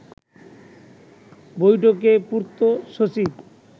বৈঠকে পূর্ত সচিব